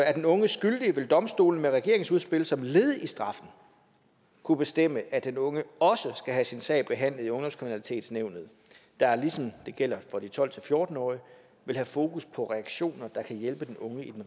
er den unge skyldig vil domstolene med regeringens udspil som led i straffen kunne bestemme at den unge også skal have sin sag behandlet i ungdomskriminalitetsnævnet der ligesom det gælder for de tolv til fjorten årige vil have fokus på reaktioner der kan hjælpe den unge i den